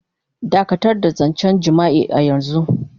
Dakatar da zancen jima'i a yanzu.